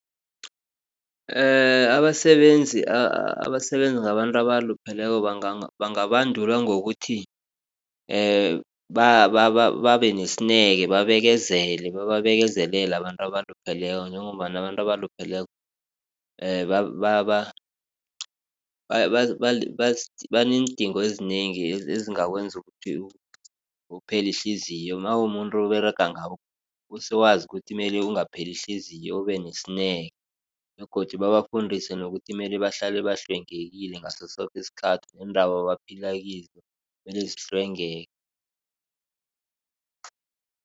abasebenzi abasebenza ngabantu abalupheleko bangabandulwa ngokuthi babe nesineke babekezele bababekezelele abantu abalupheleko njengombana abantu abalupheleko baneendingo ezinengi ezingakwenza ukuthi uphele ihliziyo nawumumuntu oberega ngabo usewazi ukuthi mele ungapheli ihliziyo ube nesineke begodu babafundisi bona bahlale bahlwengekile ngaso soke isikhathi neendawo abaphila kizo kumelwe zihlwengeke.